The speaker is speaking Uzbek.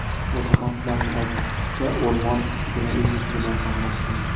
Mutaxassislarning aytishicha, o‘rmon mushugini uy mushugidan farqlash qiyin.